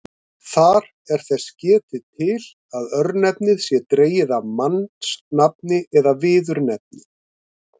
Þar er þess getið til að örnefnið sé dregið af mannsnafni eða viðurnefni.